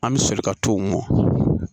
An bɛ soli ka t'o mɔ